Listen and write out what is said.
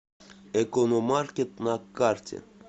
экономаркет на карте